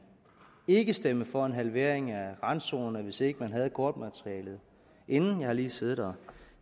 ikke stemme for en halvering af randzonerne hvis ikke man havde kortmaterialet inden jeg har lige siddet og